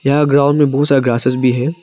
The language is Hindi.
यहां ग्राउंड में बहुत सारा ग्रासेस भी है।